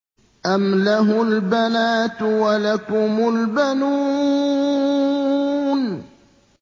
أَمْ لَهُ الْبَنَاتُ وَلَكُمُ الْبَنُونَ